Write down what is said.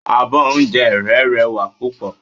Abọ́ oúnjẹ rẹ́ rẹwà púpọ̀.